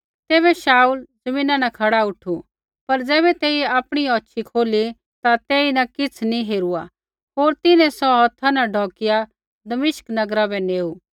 तैबै शाऊल ज़मीना न खड़ा उठु पर ज़ैबै तेइयै आपणी औछ़ी खोली ता तेईन किछ़ नी हेरुआ होर तिन्हैं सौ हौथा न ढौकिआ दमिश्क नगरा बै नेऊ